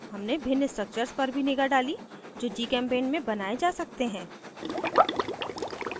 हमने भिन्न structures पर भी निगाह डाली जो gchempaint में बनाये जा सकते हैं